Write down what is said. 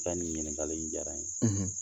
I ka nin ɲininkali in jara n ye